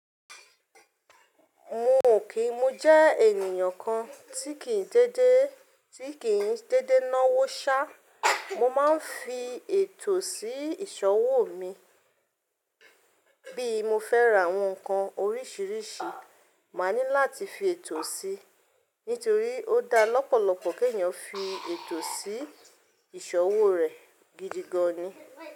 Mo kì í, mo jẹ́ ènìyàn kan tí kì í dédé, tí kì í dédé náwó ṣá. Mo máa ń fi ètò sí ìṣọwò mi. Bí mo fẹ́ ra àwọn nǹkan oríṣiríṣi, màá ní láti fi ètò sí i, nítorí ó dá lọ́pọ̀lọpọ̀ kí èeìyàn fi ètò sí ìṣọwò rẹ̀ gidi gan ni.